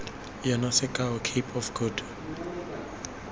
yona sekao cape of good